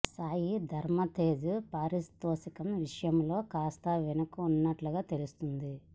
సాయి ధరమ్ తేజ్ పారితోషికం విషయంలో కాస్త వెనుక ఉన్నట్లుగా తెలుస్తోంది